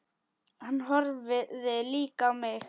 Hann horfði líka á mig.